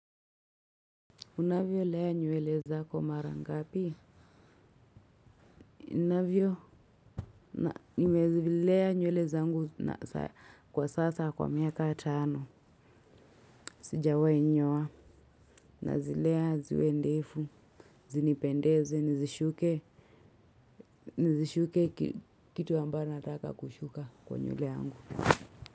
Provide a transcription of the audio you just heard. Unavyolea nywele zako mara ngapi? Ninavyo, nimezilea nywele zangu kwa sasa kwa miaka tano. Sijawahi nyoa, nazilea ziwe ndefu, zinipendeze, nizishuke, nizishuke kitu ambayo nataka kushuka kwa nywele yangu.